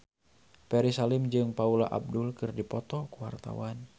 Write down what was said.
Ferry Salim jeung Paula Abdul keur dipoto ku wartawan